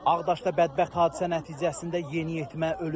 Ağdaşda bədbəxt hadisə nəticəsində yeniyetmə ölüb.